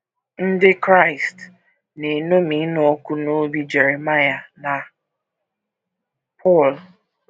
Ndị Kraịst na - eṅomi ịnụ ọkụ n’obi Jeremaịa na Pọl